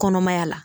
Kɔnɔmaya la